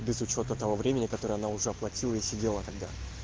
без учёта того времени которое она уже оплатила и сидела тогда